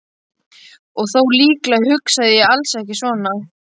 Og þó, líklega hugsaði ég alls ekki svona.